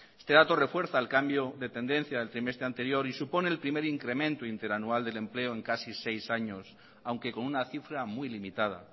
este dato refuerza el cambio de tendencia del trimestre anterior y supone el primer incremento interanual del empleo en casi seis años aunque con una cifra muy limitada